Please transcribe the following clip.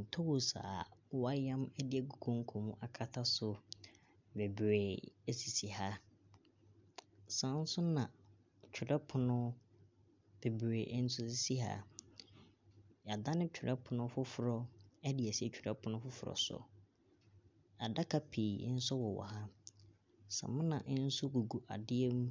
Ntoosi a wɔayam agu konko akata so bebree sisi ha, saa nso na twerɛpono bebree nso sisi ha. Yɛadane twerɛpono foforɔ de asi twerɛpono foforɔ so. Adaka pi nso wowɔ ha, samina nso gugu adeɛ mu